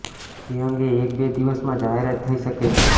જે અંગે એક બે દિવસમાં જાહેરાત થઈ શકે છે